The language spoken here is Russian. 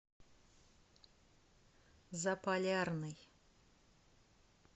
заполярный